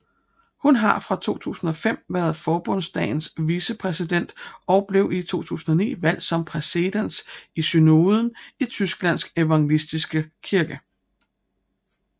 Hun har fra 2005 været Forbundsdagens vicepræsident og blev i 2009 valgt som præses i synoden i Tysklands evangeliske kirke